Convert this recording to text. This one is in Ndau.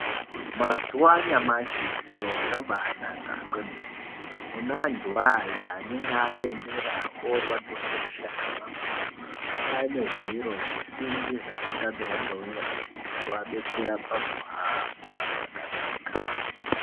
Mazuwa anyamashi zviro zvakanaka kwemene kune antu aya anenge achembera ,orwadziwa ngemishana ngemakumbo kwane zviro zvisimbi zvakagadzirwa ngeunyanzvi zvekuabetsera pakuhamba zvakanaka.